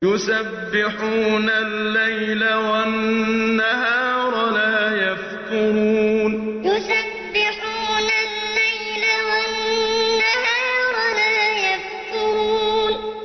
يُسَبِّحُونَ اللَّيْلَ وَالنَّهَارَ لَا يَفْتُرُونَ يُسَبِّحُونَ اللَّيْلَ وَالنَّهَارَ لَا يَفْتُرُونَ